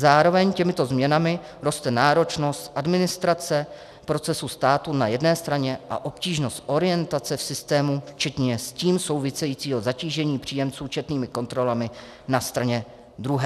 Zároveň těmito změnami roste náročnost administrace procesu státu na jedné straně a obtížnost orientace v systému včetně s tím souvisejícího zatížení příjemců četnými kontrolami na straně druhé."